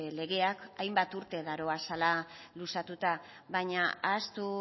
legeak hainbat urte daramatzala luzatuta baina ahaztu